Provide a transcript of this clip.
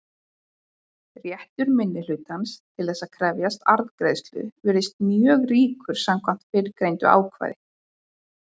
Réttur minnihlutans til þess að krefjast arðgreiðslu virðist mjög ríkur samkvæmt fyrrgreindu ákvæði.